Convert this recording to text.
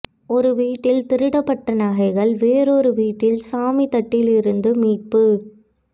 ஒரு வீட்டில் திருடப்பட்ட நகைகள் வொறொரு வீட்டில் சாமி தட்டிலிருந்து மீட்பு